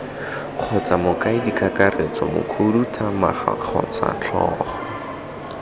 kgotsa mokaedikakaretso mokhuduthamaga kgotsa tlhogo